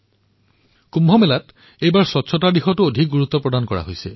এইবাৰ কুম্ভত স্বচ্ছতাৰ ওপৰতো গুৰুত্ব আৰোপ কৰা হৈছে